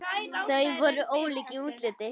Þau voru ólík í útliti.